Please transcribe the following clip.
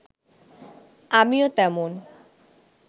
আমিও তেমন